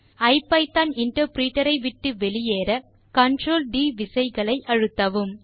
ஐபிதான் interpreter ஐ விட்டு வெளியேற Ctrl D விசைகளை அழுத்தவும்